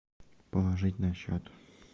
положить на счет